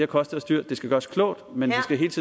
kostet os dyrt det skal gøres klogt men